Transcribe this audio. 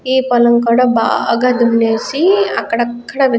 ఈ పూలం కూడా బాగా దునేసి అక్కడ అక్కడ --